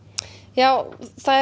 já það